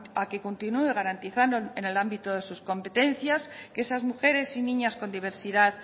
a que continúe garantizando en el ámbito de sus competencias que esas mujeres y niñas con diversidad